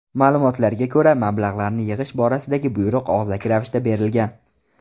Ma’lumotlarga ko‘ra, mablag‘larni yig‘ish borasidagi buyruq og‘zaki ravishda berilgan.